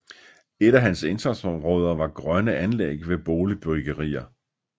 Et af hans indsatsområder var grønne anlæg ved boligbyggerier